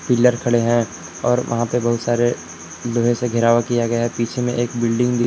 pillar खड़े हैं और वहां पे बहुत सारे लोहे से घेरावा किया गया है पीछे में एक बिल्डिंग --